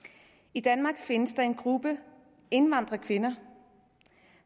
i danmark findes der en gruppe indvandrerkvinder